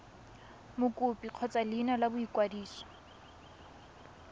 mokopi kgotsa leina la boikwadiso